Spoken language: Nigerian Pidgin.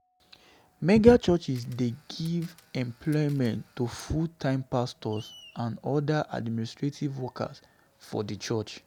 Megachurch dey give employment to full-time pastors and oda administrative workers for di church